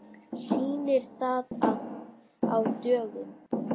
Sýnir það að á dögum